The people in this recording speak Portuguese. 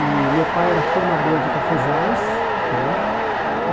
E meu pai era formador de cafezais, né? E